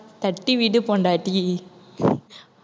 தட்டி விடு பொண்டாட்டி